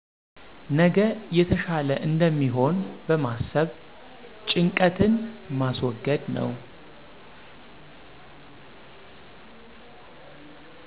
ነገ የተሻለ እንደሚሆን በማሰብ ጭንቀትን ማስወገድ ነው።